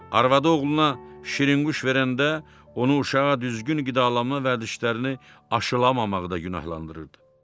Arvadı oğluna şirinqulş verəndə, onu uşağa düzgün qidalanma vərdişlərini aşılmamaqda günahlandırırdı.